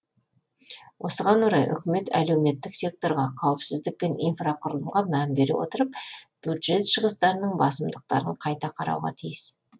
осыған орай үкімет әлеуметтік секторға қауіпсіздік пен инфрақұрылымға мән бере отырып бюджет шығыстарының басымдықтарын қайта қарауға тиіс